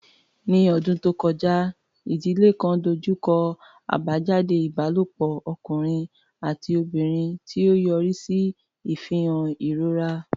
Ní ọdún tó kọjá, ìdílé kan dojú kọ àbájáde ìbálòpọ̀ ọkùnrin àti obìnrin, tí ó yọrí sí ìfihàn ìrora.